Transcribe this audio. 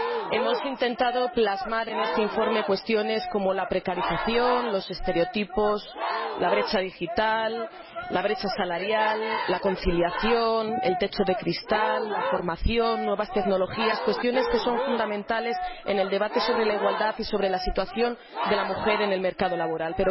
Hemos intentado plasmar en este informe cuestiones como la precarización, los estereotipos, la brecha digital, la brecha salarial, la conciliación, el techo de cristal, la formación, nuevas tecnologías, cuestiones que son fundamentales en el debate sobre la igualdad y sobre la situación de la mujer en el mercado laboral.